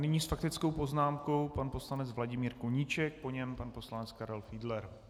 Nyní s faktickou poznámkou pan poslanec Vladimír Koníček, po něm pan poslanec Karel Fiedler.